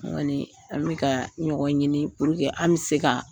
an mi ka ɲɔgɔn ɲini an bi se ka